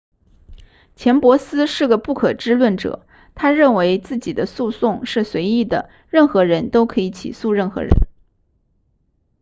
钱伯斯是个不可知论者他认为自己的诉讼是随意的任何人都可以起诉任何人